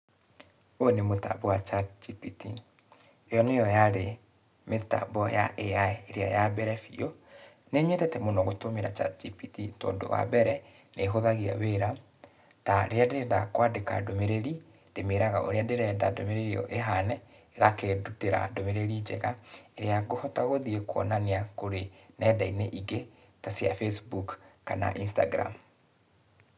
Ũyũ nĩ mũtambo wa ChatGPT. Yo nĩyo yarĩ mĩtambo ya AI ĩrĩa ya mbere biũ. Nĩ nyendete mũno gũtũmĩra ChapGPT tondũ, wa mbere, nĩhũthagia wĩra, ta rĩrĩa ndĩrenda kwandĩka ndũmĩrĩri, ndĩmĩraga ũrĩa ndĩrenda ndũmĩrĩri ĩyo ĩhane, ĩgakĩndutĩra ndũmĩrĩri njega, ĩrĩa ngũhota gũthiĩ kuonania kũrĩ nenda-inĩ ingĩ, ta cia Facebook kana Instagram.